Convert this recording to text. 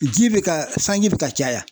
Ji bɛ ka sanji bɛ ka caya.